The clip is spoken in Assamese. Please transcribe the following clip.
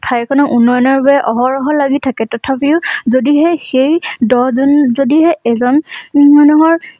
ঠাই খনৰ উন্নয়নৰ বাবে অহৰহ লাগি থাকে। তথাপিও যদিহে সেই দহ জন যদিহে এজন মানুহৰ